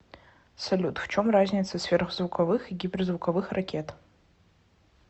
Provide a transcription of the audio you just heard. салют в чем разница сверхзвуковых и гиперзвуковых ракет